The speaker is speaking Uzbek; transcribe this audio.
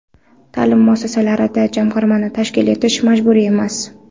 Ta’lim muassasalarida Jamg‘armani tashkil etish majburiy emas.